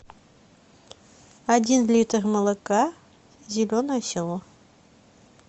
один литр молока зеленое село